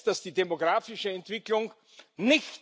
be available for everyone.